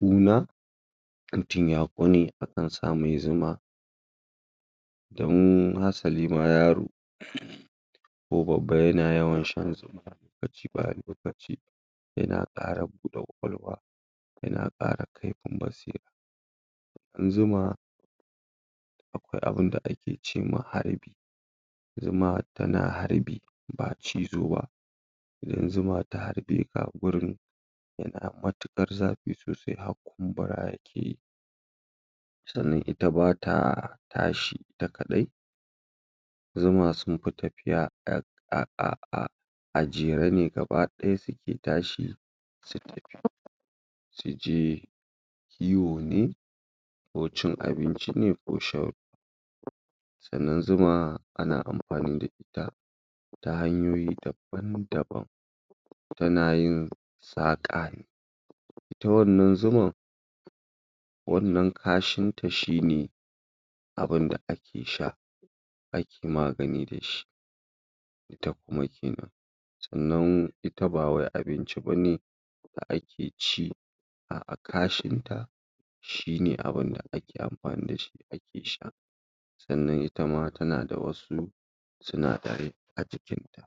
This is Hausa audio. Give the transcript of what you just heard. ƙuna in mutum ya ƙone akan sa mai zuma in, hasali ma yaro ko babba yana yawan shan lokaci bayan lokaci yana ƙara buɗe ƙwaƙalwa yana ƙara kifin basira Zuma akwai abin da ake ce ma harbi Zuma tana harbi ba cizo ba idan zuma ta harbe ka, gurin yana matuƙar zafi sosai har kumbura yake yi Sannan ita ba ta tashi ita kaɗai zuma sun fi tafiya a um a jere ne gaba ɗaya suke tashi su je kiwo ne cin abinci ne ko shan sannan zuma ana amfani da ita ta hanyoyi dabn-daban tana yin saƙa ita wannan zuman wannan kashinta shi ne abin da ake sha ake magani da shi Sannan ita ba wai abinci ba ne da ake ci, a'a, kashinta shi ne abin da ake amfani da shi ake sha sannan ita ma tana da wasu sinadarai a jikinta.